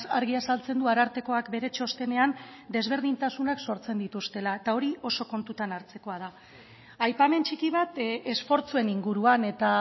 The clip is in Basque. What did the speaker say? argi azaltzen du arartekoak bere txostenean desberdintasunak sortzen dituztela eta hori oso kontutan hartzekoa da aipamen txiki bat esfortzuen inguruan eta